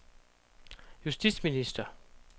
justitsminister